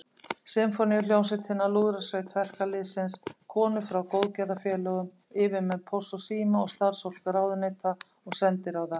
Sinfóníuhljómsveitina, Lúðrasveit verkalýðsins, konur frá góðgerðarfélögum, yfirmenn Pósts og síma og starfsfólk ráðuneyta og sendiráða.